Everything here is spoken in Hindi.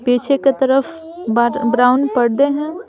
पीछे के तरफ ब्राउन पर्दे हैं।